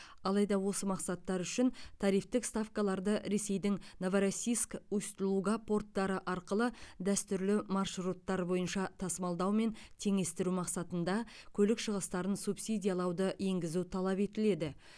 алайда осы мақсаттар үшін тарифтік ставкаларды ресейдің новороссийск усть луга порттары арқылы дәстүрлі маршруттар бойынша тасымалдаумен теңестіру мақсатында көлік шығыстарын субсидиялауды енгізу талап етіледі